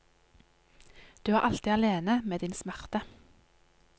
Du er alltid alene med din smerte.